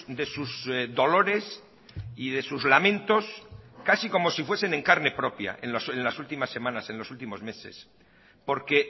de sus dolores y de sus lamentos casi como si fuesen en carne propia en las últimas semanas en los últimos meses porque